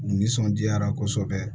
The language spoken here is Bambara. U nisɔndiyara kosɛbɛ